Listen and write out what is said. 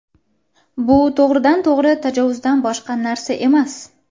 bu to‘g‘ridan-to‘g‘ri tajovuzdan boshqa narsa emas”.